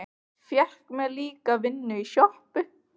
Fékk mér líka vinnu í sjoppu.